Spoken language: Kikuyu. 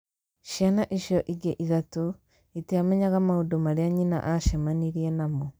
"Ciana icio ingĩ ithatũ iitiamenyaga maũndũ marĩa nyina aacemanirie namo".